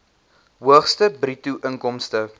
hoogste bruto inkomste